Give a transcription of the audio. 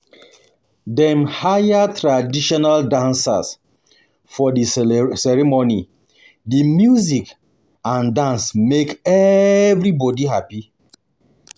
Dem hire traditional dancers for di ceremony, di music and dance make everybodi hapi.